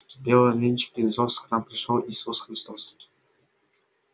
в белом венчике из роз к нам пришёл иисус христос